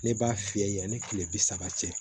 Ne b'a fiyɛ yani kile bi saba cɛ